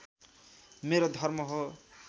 मेरो धर्म हो